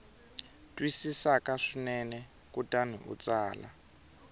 twisisaka swinene kutani u tsala